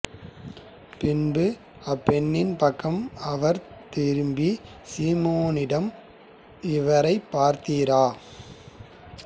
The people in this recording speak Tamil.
பின்பு அப்பெண்ணின் பக்கம் அவர் திரும்பி சீமோனிடம் இவரைப் பார்த்தீரா